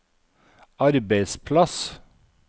arbeidsplass